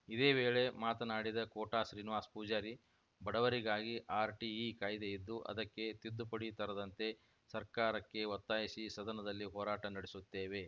ಇದೇ ವೇಳೆ ಮಾತನಾಡಿದ ಕೋಟಾ ಶ್ರೀನಿವಾಸ ಪೂಜಾರಿ ಬಡವರಿಗಾಗಿ ಆರ್‌ಟಿಇ ಕಾಯ್ದೆ ಇದ್ದು ಅದಕ್ಕೆ ತಿದ್ದುಪಡಿ ತರದಂತೆ ಸರ್ಕಾರಕ್ಕೆ ಒತ್ತಾಯಿಸಿ ಸದನದಲ್ಲಿ ಹೋರಾಟ ನಡೆಸುತ್ತೇವೆ